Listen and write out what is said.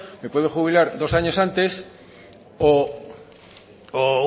me puede jubilar dos años antes o